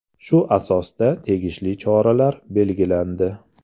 Shu asosda tegishli choralar belgilandi.